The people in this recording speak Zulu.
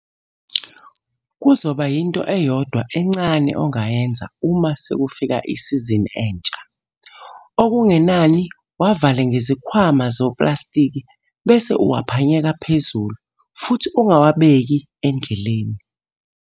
Kuzoba yinto eyodwa encane ongayenza uma sekufika isizini entsha. Okungenani wavale ngezikhwama zoplastiki bese uwaphanyeka phezulu futhi ungawabeki endleleni.